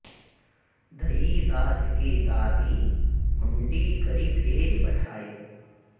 दई दास की दादि हुँडी करि फेरि पठायो